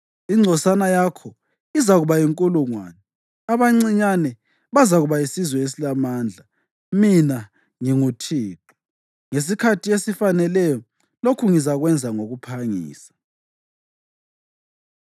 Ingcosana yakho izakuba yinkulungwane, abancinyane bazakuba yisizwe esilamandla. Mina nginguThixo; ngesikhathi esifaneleyo lokhu ngizakwenza ngokuphangisa.”